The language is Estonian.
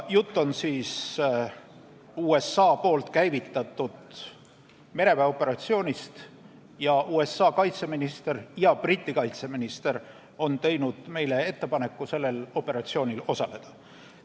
Jutt on USA käivitatud mereväeoperatsioonist ning USA kaitseminister ja Briti kaitseminister on teinud meile ettepaneku sellel operatsioonil osaleda.